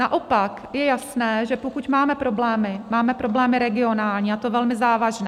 Naopak je jasné, že pokud máme problémy, máme problémy regionální, a to velmi závažné.